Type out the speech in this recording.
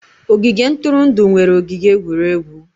Ogige ntụrụndụ nwere ogige egwuregwu.